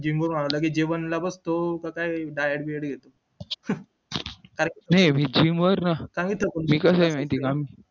gym वरून आल्या लगेच जीवनला बघतो कसाय diet कसये माहितीये का